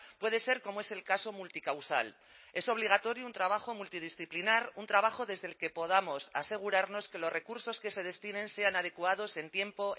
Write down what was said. puede ser como es el caso multicausal es obligatorio un trabajo multidisciplinar un trabajo desde el que podamos asegurarnos que los recursos que se destinen sean adecuados en tiempo